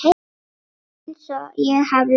Einsog ég hafi verið.